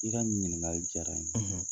I ka nin ɲininkali diyara n ye.